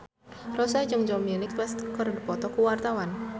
Rossa jeung Dominic West keur dipoto ku wartawan